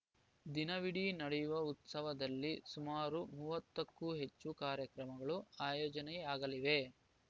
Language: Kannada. ದಿನವಿಡೀ ನಡೆಯುವ ಉತ್ಸವದಲ್ಲಿ ಸುಮಾರು ಮೂವತ್ತಕ್ಕೂ ಹೆಚ್ಚು ಕಾರ್ಯಕ್ರಮಗಳು ಆಯೋಜನೆಯಾಗಲಿವೆ